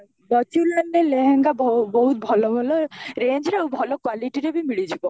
ହଁ, ଲେହେଙ୍ଗା ବହୁତ ଭଲ ଭଲ range ରେ ଆଉ ଭଲ quality ରେ ଭି ମିଳିଯିବ